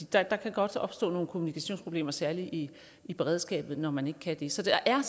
der kan godt opstå nogle kommunikationsproblemer særlig i i beredskabet når man ikke kan det så der er